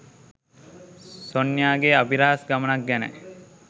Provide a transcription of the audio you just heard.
සොන්යා ගේ අභිරහස් ගමනක් ගැනයි.